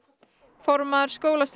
formaður